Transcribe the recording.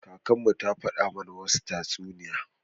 Kakanmu ta faɗa mana wadansu tatsuniya.